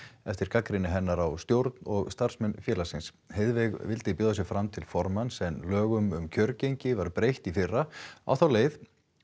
eftir gagnrýni hennar á stjórn og starfsmenn félagsins vildi bjóða sig fram til formanns en lögum um kjörgengi var breytt í fyrra á þá leið